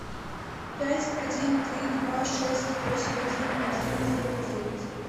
пять один три два шесть восемь один один девять девять